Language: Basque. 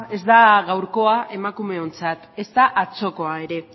ez da gaurkoa emakumeontzat ez da atzokoa ere